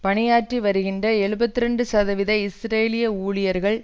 பணியாற்றி வருகின்ற எழுபத்து இரண்டு சதவீத இஸ்ரேலிய ஊழியர்கள்